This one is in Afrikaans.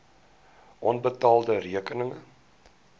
onbetaalde rekeninge